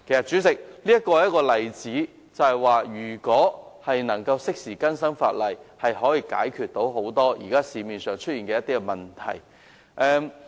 主席，泊車位是一個例子，顯示如果能夠適時更新法例，便可以解決很多現時市面上出現的問題。